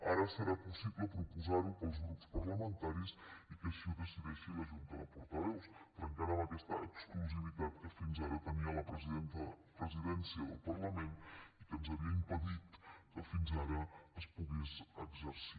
ara serà possible proposarho pels grups parlamentaris i que així ho decideixi la junta de portaveus trencant amb aquesta exclusivitat que fins ara tenia la presidència del parlament i que ens havia impedit que fins ara es pogués exercir